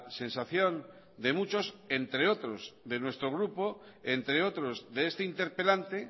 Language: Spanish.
sensación de muchos entre otros de nuestro grupo entre otros de este interpelante